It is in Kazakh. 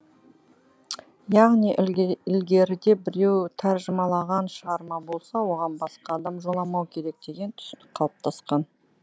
яғни ілгеріде біреу тәржімалаған шығарма болса оған басқа адам жоламау керек деген түсінік қалыптасқан